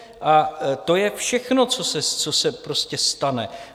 A to je všechno, co se prostě stane.